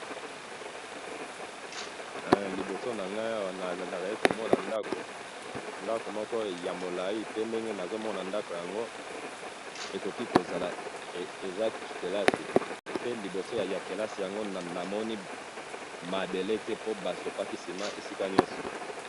Liboso na ngai awa nazali komona ndako, ndako moko ya molai, pe ndenge nazo mona ndako yango ekoki kozala , eza kelasi ,pe liboso ya kelasi yango namoni mabele te po basopaki ciment esika nionso